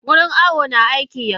Wurin awo na aiki yanzu.